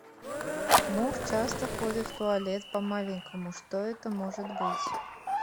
муж часто ходит в туалет по маленькому что это может быть